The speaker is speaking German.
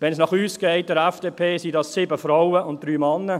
Wenn es nach uns, der FDP geht, sind das 7 Frauen und 3 Männer.